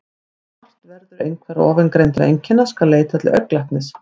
Ef vart verður einhverra ofangreindra einkenna skal leita til augnlæknis.